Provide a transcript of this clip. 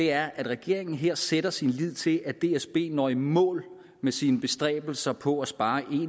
er at regeringen her sætter sin lid til at dsb når i mål med sine bestræbelser på at spare en